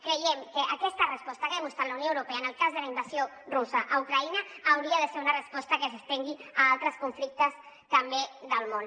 creiem que aquesta resposta que ha mostrat la unió europea en el cas de la invasió russa a ucraïna hauria de ser una resposta que s’estengui a altres conflictes també del món